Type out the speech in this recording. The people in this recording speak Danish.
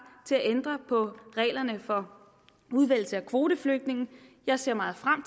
til at ændre på reglerne for udvælgelse af kvoteflygtninge jeg ser meget frem